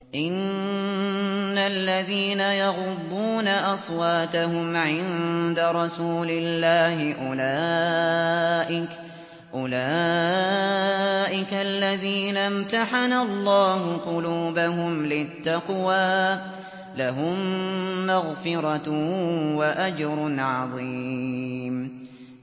إِنَّ الَّذِينَ يَغُضُّونَ أَصْوَاتَهُمْ عِندَ رَسُولِ اللَّهِ أُولَٰئِكَ الَّذِينَ امْتَحَنَ اللَّهُ قُلُوبَهُمْ لِلتَّقْوَىٰ ۚ لَهُم مَّغْفِرَةٌ وَأَجْرٌ عَظِيمٌ